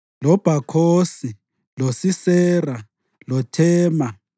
loBhakhosi, loSisera, loThema,